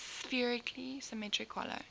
spherically symmetric hollow